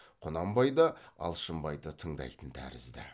құнанбай да алшынбайды тыңдайтын тәрізді